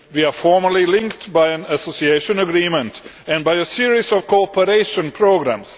We are formally linked by an Association Agreement and by a series of cooperation programmes.